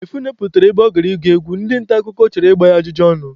Mgbe Phyno pụtara ebe ọ gara ịgụ egwu, ndị nta akụkọ chọrọ igba ya ajụjụ ọnụ.